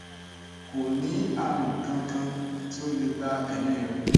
ko ni arun kan kan ti o le gba emi re